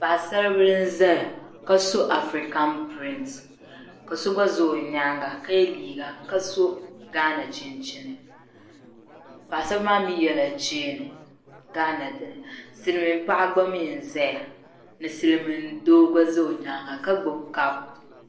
Paɣisari bili n zaya ka so afican pirent. ka so gba za ɔnyaaŋa ka ye liiga ka so ghana. chinchini paɣisaribili maa mi nyela cheeni ghana dini, silimiinpaɣa gba mi nzaya ni silimiin doo gba za ɔ nyaaŋa. ka gbubi Cape.